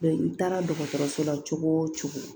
i taara dɔgɔtɔrɔso la cogo o cogo